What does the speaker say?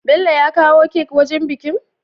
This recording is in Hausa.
Bello ya kawo kek wajan bikin?